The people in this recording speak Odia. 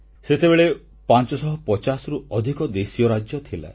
ସେତେବେଳେ 550ରୁ ଅଧିକ ଦେଶୀୟ ରାଜ୍ୟ ଥିଲା